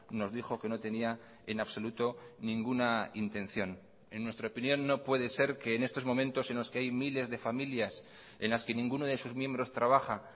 nos dijo que no tenía en absoluto ninguna intención en nuestra opinión no puede ser que en estos momentos en los que hay miles de familias en las que ninguno de sus miembros trabaja